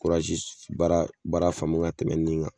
baara faamu ka tɛmɛ nin kan